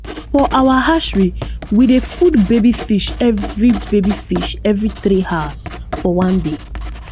for our hatchery we dey food baby fish every baby fish every three hours for one day